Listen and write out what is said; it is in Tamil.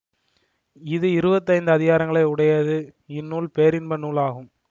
இது இருபத்தி ஐந்து அதிகாரங்களை உடையது இந்நூல் பேரின்ப நூல் ஆகும்